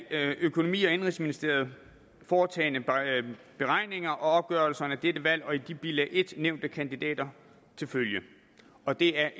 af økonomi og indenrigsministeriet foretagne beregninger og opgørelser af dette valg og de i bilag en nævnte kandidater til følge og det er